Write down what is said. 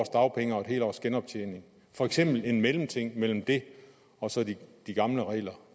dagpenge og et helt års genoptjening for eksempel en mellemting mellem det og så de gamle regler